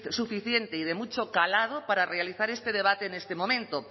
suficiente y de mucho calado para realizar este debate en este momento